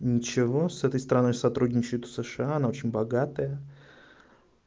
ничего с этой страной сотрудничают сша она очень богатая